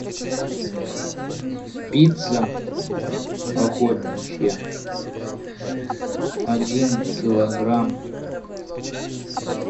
пицца охотничья один килограмм